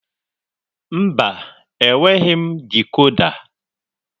Mba, enweghị m dikoda.